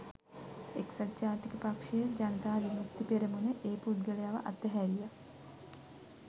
එක්සත් ජාතික පක්ෂය ජනතා විමුක්ති පෙරමුණ ඒ පුද්ගලයව අතහැරියා